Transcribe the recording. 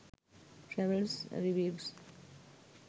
travels reviews